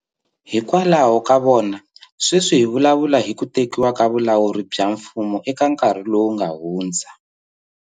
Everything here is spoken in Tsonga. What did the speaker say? Hikwalaho ka vona sweswi hi vulavula hi ku tekiwa ka vulawuri bya mfumo eka nkarhi lowu nga hundza.